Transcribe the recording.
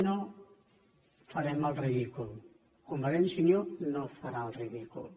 no farem el ridícul convergència i unió no farà el ridícul